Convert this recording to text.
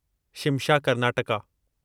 Shimsha Karnataka